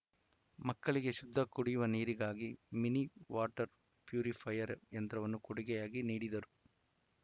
ಮಕ್ಕಳಿಗೆ ಶುದ್ದ ಕುಡಿಯುವ ನೀರಿಗಾಗಿ ಮಿನಿ ವಾಟರ್‌ ಪ್ಯೂರಿಫಯರ್‌ ಯಂತ್ರವನ್ನು ಕೊಡುಗೆಯಾಗಿ ನೀಡಿದರು